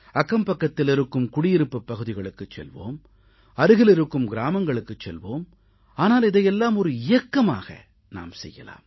அக்கம் பக்கத்தில் இருக்கும் குடியிருப்புப் பகுதிகளுக்குச் செல்வோம் அருகில் இருக்கும் கிராமங்களுக்குச் செல்வோம் ஆனால் இதையெல்லாம் ஒரு இயக்கமாக நாம் செய்யலாம்